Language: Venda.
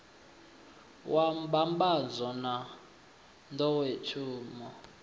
wa mbambadzo na n ḓowetsumo